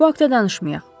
O haqda danışmayaq.